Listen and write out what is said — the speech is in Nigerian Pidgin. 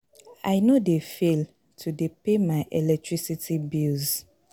I no dey fail to dey pay my electricity bills.